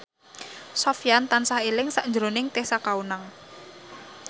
Sofyan tansah eling sakjroning Tessa Kaunang